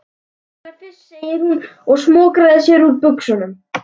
Peningana fyrst góði, segir hún og smokrar sér úr buxunum.